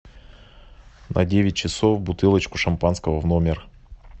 на девять часов бутылочку шампанского в номер